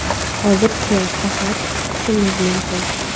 Hozircha faqat kutishimiz mumkin.